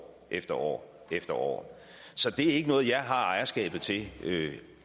efter år efter år så det er ikke noget jeg har ejerskabet til